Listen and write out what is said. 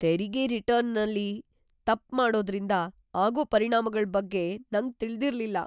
ತೆರಿಗೆ ರಿಟರ್ನಲ್ಲಿ ತಪ್ಪ್ ಮಾಡೋದ್ರಿಂದ ಆಗೋ ಪರಿಣಾಮಗಳ್‌ ಬಗ್ಗೆ ನಂಗ್ ತಿಳ್ದಿರ್ಲಿಲ್ಲ.